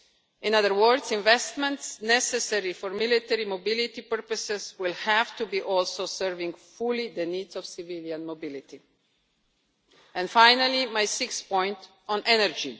In other words, investments necessary for military mobility purposes will also have to be serving fully the needs of civilian mobility. And finally, my sixth point, on energy.